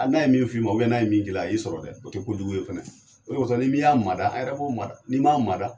N'a ye min fi ma, n'a ye min k'i la, i y'i sɔrɔ dɛ, o tɛ kojugu ye fɛnɛ, o de kɔsɔn, ni min y'a mada, a yɛrɛ b'o mada, n'i ma mada